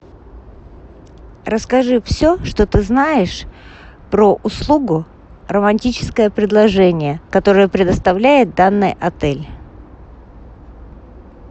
расскажи все что ты знаешь про услугу романтическое предложение которое предоставляет данный отель